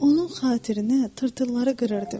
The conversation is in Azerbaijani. Onun xatirinə tırtılları qırırdım.